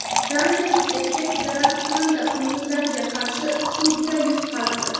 Daniyalik erkak zararkunanda qunduzlarga qarshi sudda yutqazdi.